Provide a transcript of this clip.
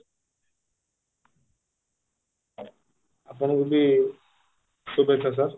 ଆପଣଙ୍କୁ ବି ଶୁଭେଚ୍ଚା sir